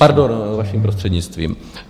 Pardon, vším prostřednictvím.